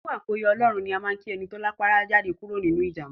Kú àkóyọ Ọlọ́run ní á máa ń kí ẹni ti rápálá jáde kúrò nínú ìjàḿbá.